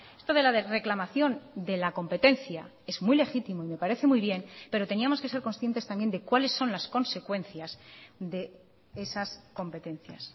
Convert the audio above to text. esto de la reclamación de la competencia es muy legítimo y me parece muy bien pero teníamos que ser conscientes también de cuáles son las consecuencias de esas competencias